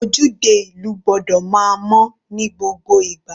Ojúde ìlú gbọ́dọ̀ máa mọ́ ní gbogbo ìgbà.